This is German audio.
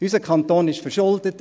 Unser Kanton ist verschuldet.